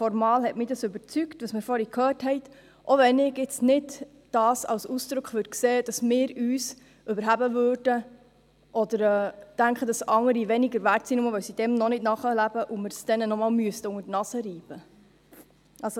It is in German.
Formal hat mich das, was wir vorhin gehört haben, überzeugt, selbst wenn ich dies jetzt nicht als Ausdruck davon sehe, dass wir uns erheben oder denken, dass Andere weniger wert sind, nur deshalb, weil sie dem noch nicht nachleben und wir es ihnen nochmals unter die Nase reiben müssten.